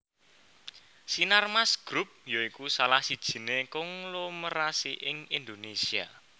Sinarmas Group ya iku salah sijiné konglomerasi ing Indonésia